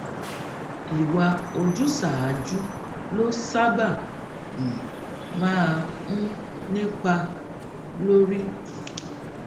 ìwà ojúsàájú ló sábà um máa ń nípa lórí